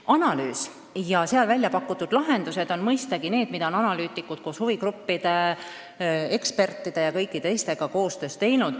Analüüs ja välja pakutud lahendused on mõistagi sündinud analüütikute koostöös huvigruppide, ekspertide ja paljude teistega.